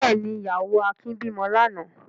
Bẹ́ẹ̀ ni, ìyàwó Akin bímọ lánàá.